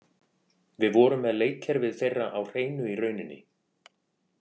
Við vorum með leikkerfið þeirra á hreinu í rauninni.